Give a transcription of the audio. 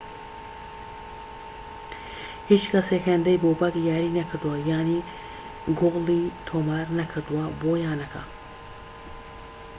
هیچ کەسێك هێندەی بۆبەك یاری نەکردووە یان گۆڵی تۆمار نەکردووە بۆ یانەکە